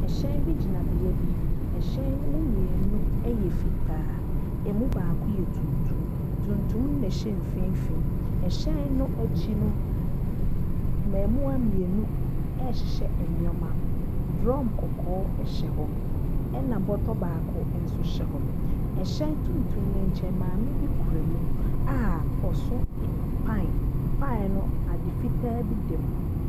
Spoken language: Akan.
Hyɛn bi gyina beae bi. Hyɛn no mu mmienu yɛ fitaa. Ɛmu baako yɛ tuntum. Tuntum no na ɛhyɛ mfinfin. Hyɛn no akyi no, mm mm mmaamua mmienu rehyehyɛ nneɛma. Drum kɔkɔɔ hyɛ hɔ, ɛnna bɔtɔ baako nso hyɛ hɔ. Hyɛn tuntum no nkyɛn, maame bi kura mu a ɔso ɛ pan. Pan no, ade fitaa bi dam.